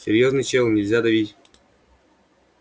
серьёзный чел нельзя давить